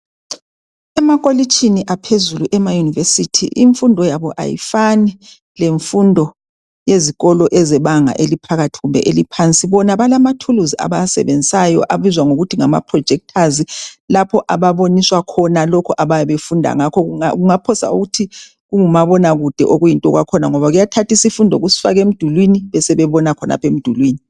Emakolitshini aphezulu emaYunivesithi imfundo yabo ayifani lemfundo yezikolo ezebanga eliphakathi kumbe eliphansi. Bona balamathuluzi abawasebenzisayo abizwa ngokuthi ngama projectors lapho ababoniswa khona lokhu abayabe befunda ngakho. Ungaphosa uthi kungumabona kude okuyinto kwakhona ngoba kuyathatha isifundo kusifake emdulini. Besebebona khonapho emdulini.